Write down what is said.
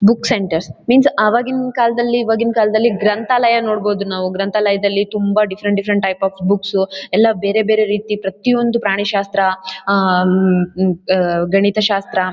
Book centres means ಅವಾಗಿನ್ ಕಾಲದಲ್ಲಿ ಇವಗಿನ್ ಕಾಲದಲ್ಲಿ ಗ್ರಂಥಾಲಯ ನೋಡಬಹುದು ನಾವು. ಗ್ರಂಥಾಲಯ ದಲ್ಲಿ ತುಂಬ ಡಿಫರೆಂಟ್ ಡಿಫರೆಂಟ್ ಟೈಪ್ಸ್ ಆ ಬುಕ್ಸ್ ಎಲ್ಲ ಬೇರೆ ಬೇರೆ ರೀತಿ ಪ್ರತಿಒಂದು ಪ್ರಾಣಿ ಶಾಸ್ತ್ರ ಗಣಿತ ಶಾಸ್ತ್ರ--